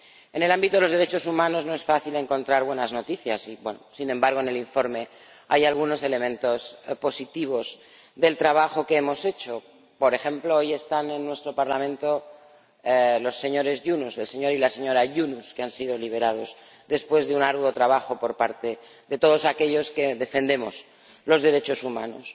En el ámbito de los derechos humanos no es fácil encontrar buenas noticias, sin embargo, en el informe hay algunos elementos positivos del trabajo que hemos hecho, por ejemplo, hoy están en nuestro Parlamento el señor y la señora Yunus, que han sido liberados después de un arduo trabajo por parte de todos aquellos que defendemos los derechos humanos.